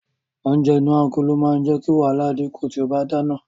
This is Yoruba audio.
Oúnjẹ inú agolo máa jẹ́ kí wàhálà dínkù tí o bá ń dáná.